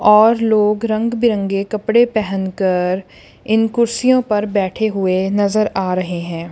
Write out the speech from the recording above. और लोग रंग बिरंगे कपड़े पहेन कर इन कुर्सियों पर बैठे हुए नजर आ रहे हैं।